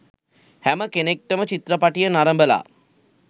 හැම කෙනෙක්ටම චිත්‍රපටිය නරඹලා